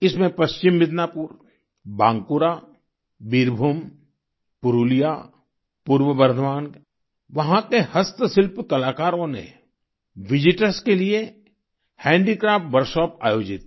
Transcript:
इसमें पश्चिम मिदनापुर बांकुरा बीरभूम पुरुलिया पूर्व बर्धमान वहाँ के हस्तशिल्प कलाकारों ने विजिटर्स के लिये हैंडीक्राफ्ट वर्कशॉप आयोजित की